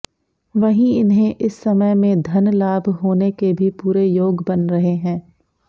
वहीं इन्हें इस समय में धनलाभ होेने के भी पूरे योग बन रहे हैं